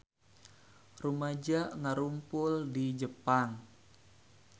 Rumaja ngarumpul di Jepang